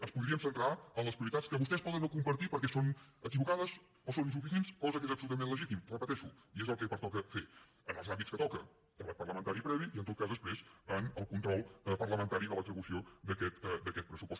ens podríem centrar en les prioritats que vostès poden no compartir perquè són equivocades o són insuficients cosa que és absolutament legítim ho repeteixo i és el que pertoca fer en els àmbits que toca debat parlamentari previ i en tot cas després el control parlamentari de l’execució d’aquest pressupost